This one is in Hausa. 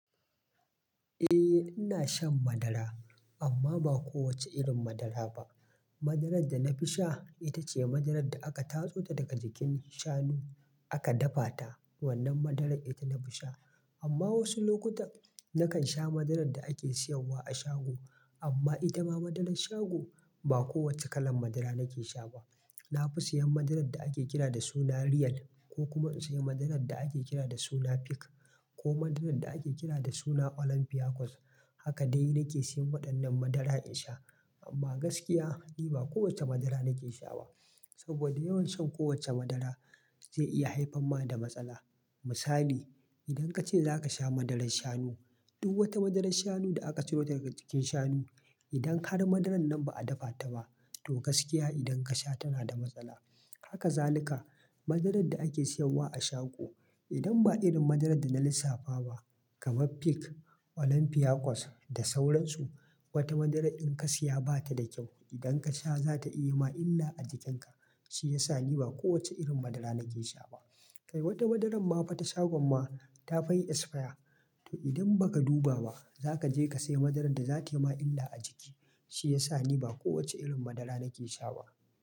Eh ina shan madara amma ba kowacce irin madara ba. Madarar da na fi sha ita ce madarar da aka tatso daga jikin shanu aka dafa ta. Wannan madarar ita na fi sha. Amma wasu lokutan nakan sha madarar da ake sayarwa a shago. Amma ita ma madarar shago ba kowacce kalar madara nake sha ba. Na fi siyan madarar da ake kira da suna Real ko kuma in sayi madarar da ake kira da suna Peak ko madarar da ake kira da suna Olympiacos. Haka dai nake siyan waɗannan madara in sha. Amma gaskiya ni ba kowacce madara nake sha ba saboda yawan shan kowacce madara zai iya haifarma da matsala. Misali, idan ka ce za ka sha madarar shanu, duk wata madarar shanu da aka ciro daga jikin shanu, idan har madarar nan ba a dafa ta ba, to gaskiya idan ka sha tana da matsala. Haka zaluka madarar da ake sayarwa a shago. Idan ba irin madarar da na lissafa ba kamar Peak, Olympiacos da sauransu, wata madarar in ka siya ba ta da kyau. Idan ka sha za ta yi ma illa a jikinka. Shi ya sa ni ba kowacce irin madara nake sha ba. Kai wata madarar mafa ta shagon ma ta fayi esfaya. To idan ba ka duba ba za ka je ka saya madarar da za tayi ma illa a jiki. Shi ya sa ni ba kowacce irin madara nake sha ba.